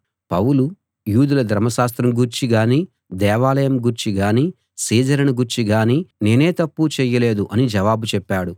పౌలు యూదుల ధర్మశాస్త్రం గూర్చి గానీ దేవాలయం గూర్చి గానీ సీజరును గూర్చి గానీ నేనే తప్పూ చేయలేదు అని జవాబు చెప్పాడు